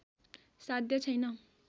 साध्य छैन